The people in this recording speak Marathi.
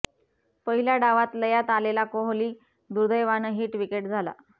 पहिल्या डावात लयात आलेला कोहली दुर्देवानं हिट विकेट झाला